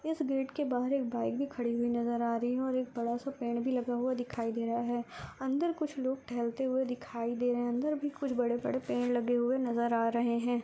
इस गेट के बाहर के एक बाइक भी खड़ी हुई नज़र आ रही है और एक बड़ा सा पेड़ भी लगा हुआ दिखाई दे रहा है अंदर कुछ लोग टहलते हुआ दिखाई दे रहे है अंदर भी कुछ बड़े बड़े पेड़ लगे हुए नज़र आ रहे है।